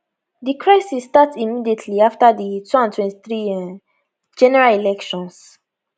di crisis start immediately afta di 2023 um general elections